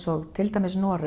og til dæmis Noregur